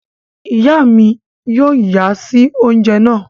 Iya mí yóò nya si oúnjẹ náà